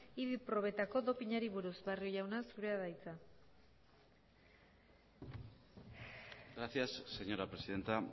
idi probetako dopinari buruz barrio jauna zurea da hitza gracias señora presidenta